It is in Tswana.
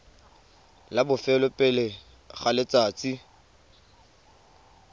la bofelo pele ga letsatsi